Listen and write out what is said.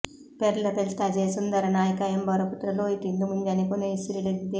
ಪೆರ್ಲ ಪೆಲ್ತಾಜೆಯ ಸುಂದರ ನಾಯ್ಕಾ ಎಂಬವರ ಪುತ್ರ ಲೋಹಿತ್ ಇಂದು ಮುಂಜಾನೆ ಕೊನೆಯುಸಿರೆಳೆದಿದೆ